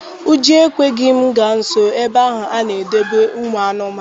Ụjọ ekweghị m gaa nsọ ebe ahụ a na-edobe ụmụ anụmanụ.